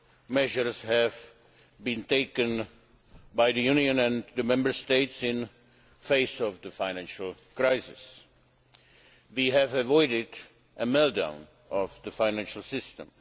measures have been taken by the Union and the Member States in the face of the financial crisis. We have avoided a meltdown of the financial system.